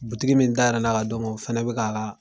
min dayɛlɛla ka d'o ma o fana bɛka ka